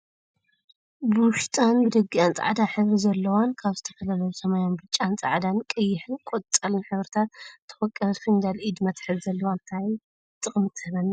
ብውሽጣ ብደጊኣን ፃዕዳ ሕብሪ ዘለዎን ካበ ዝተፈላለየ ሰማያዊን ብጫን ፃዕዳን ቀይሕን ቆፃልን ሕብርታት ትወቀበት ፍንጃል ኢድ መትሐዚ ዘለዎ እንታይ ጥቅሚ ትህበና ይመስለኩም?